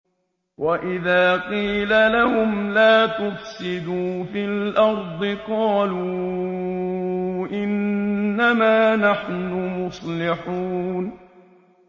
وَإِذَا قِيلَ لَهُمْ لَا تُفْسِدُوا فِي الْأَرْضِ قَالُوا إِنَّمَا نَحْنُ مُصْلِحُونَ